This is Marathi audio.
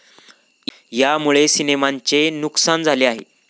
यामुळे सिनेमांचे नुकसान झाले आहे.